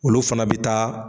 Olu fana bɛ taa.